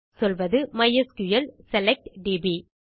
சொல்வது மைஸ்கிள் select DP